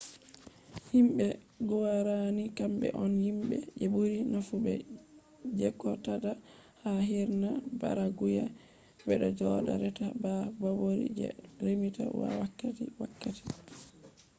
himbe guarani kambe on himbe je buri nafu be jqodata ha hirna paraguay bedo joda reta ba borori je remita wakkati wakkati